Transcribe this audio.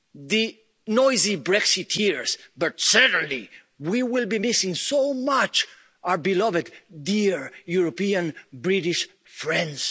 be missing the noisy Brexiteers but we will certainly be missing so much our beloved dear European British